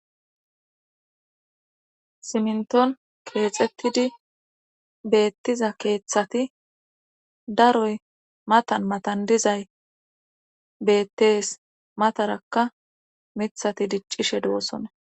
Siminton keexxettidi beettiza keeththati daroy matan matan dizay beettees matarakka mithati diccishe duosona